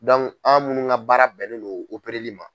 an minnu ka baara bɛnnen don ma.